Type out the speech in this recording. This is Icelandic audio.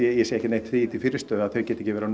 ég sé ekki neitt því til fyrirstöðu að þau geti ekki verið að